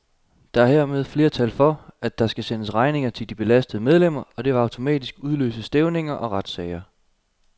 Der er hermed flertal for, at der skal sendes regninger til de belastede medlemmer, og det vil automatisk udløse stævninger og retssager.